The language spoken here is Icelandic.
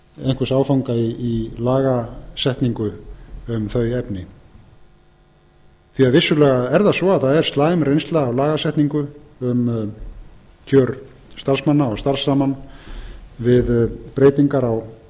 einhvers áfanga í lagasetningu um þau efni því vissulega er það svo að það er slæm reynsla af lagasetningu um kjör starfsmanna og starfsrammann við breytingar á